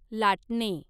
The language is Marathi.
लाटणे